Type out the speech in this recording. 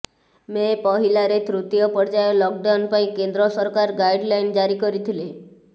ମେ ପହିଲାରେ ତୃତୀୟ ପର୍ଯ୍ୟାୟ ଲକ୍ଡାଉନ୍ ପାଇଁ କେନ୍ଦ୍ର ସରକାର ଗାଇଡ୍ଲାଇନ୍ ଜାରି କରିଥିଲେ